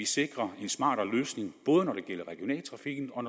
sikre en smartere løsning både når det gælder regionaltrafikken og